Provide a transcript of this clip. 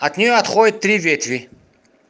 от него отходят три ветви